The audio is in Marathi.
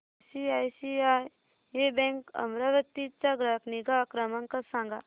आयसीआयसीआय बँक अमरावती चा ग्राहक निगा क्रमांक सांगा